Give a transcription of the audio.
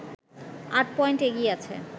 আট পয়েন্ট এগিয়ে আছে